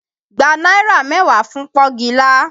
Gba náírà mẹ́wàá fún pọ́ngilá!